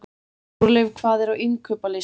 Þórleif, hvað er á innkaupalistanum mínum?